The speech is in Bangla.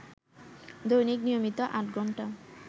দৈনিক নিয়মিত আট ঘণ্টা